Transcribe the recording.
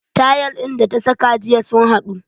Tayal din da ta saka jiya sun haɗu